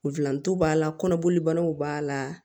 Nfilantow b'a la kɔnɔboli banaw b'a la